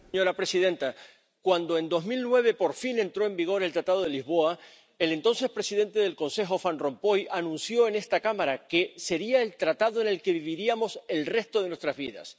Señora presidenta, cuando en 2009, por fin, entró en vigor el Tratado de Lisboa, el entonces presidente del Consejo, señor Van Rompuy, anunció en esta Cámara que sería el Tratado con el que viviríamos el resto de nuestras vidas.